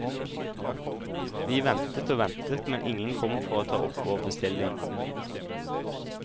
Vi ventet og ventet, men ingen kom for å ta opp vår bestilling.